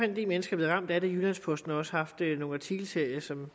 en del mennesker blevet ramt af det jyllands posten har også haft nogle artikelserier som